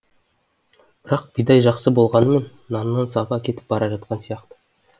бірақ бидай жақсы болғанның наннан сапа кетіп бара жатқан сияқты